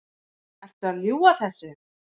Ertu að ljúga þessu?